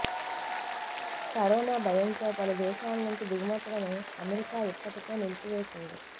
corona భయంతో పలు దేశాల నుంచి దిగుమతులను అమెరికా ఇప్పటికే నిలిపివేసింది